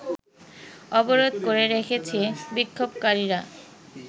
অবরোধ করে রেখেছে বিক্ষোভকারীরা